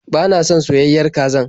Ba na son soyayen kazar.